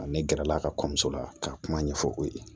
Ne gɛrɛla ka kɔɲɔmuso la k'a kuma ɲɛfɔ o ye